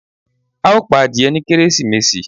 a o pa adìyé ni Kérésímèsí